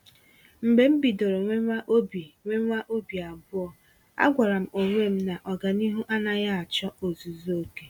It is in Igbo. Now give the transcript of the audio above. Mgbe m bidoro nwewa obi nwewa obi abụọ, a gwàrà m onwe m na ọganihu anaghị achọ ozuzu oke.